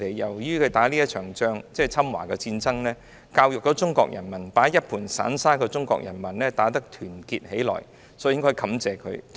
正是你們打了這一仗，教育了中國人民，把一盤散沙的中國人民打得團結起來了，所以我們應該感謝你們。